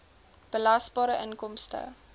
belasbare inkomste